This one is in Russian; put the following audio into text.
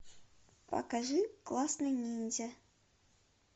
покажи классный ниндзя